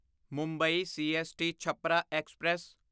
Mumbai CST Chhapra express